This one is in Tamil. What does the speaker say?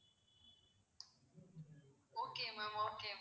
okay ma'am okay